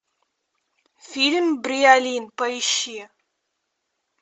фильм бриолин поищи